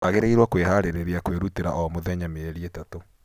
Wagĩrĩiro kwĩharĩrĩria kwĩrutĩra omũthenya mĩeri itatũ.